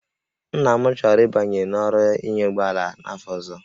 Nna m chọrọ ịbanye n'ọrụ ịnya ụgbọ ala n'afọ ọzọ